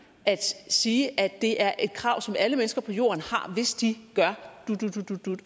at sige at det er et krav som alle mennesker på jorden har hvis de gør